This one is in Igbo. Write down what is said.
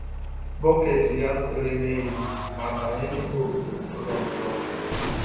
Bucket ya sere n'elu ma banye n'ime ogige ụlọ nke ọzọ